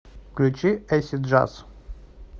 включи эйсид джаз